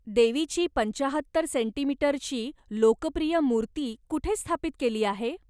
देवीची पंचाहत्तर सेंटीमीटरची लोकप्रिय मूर्ती कुठे स्थापित केली आहे?